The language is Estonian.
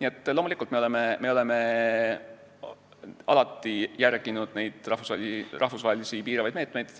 Nii et loomulikult me oleme alati järginud rahvusvahelisi piiravaid meetmeid,